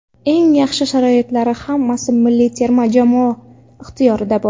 Eng yaxshi sharoitlari hammasi milliy terma jamoa ixtiyorida bor.